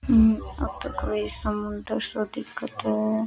येतो कोई समुन्दर सो दिखे है।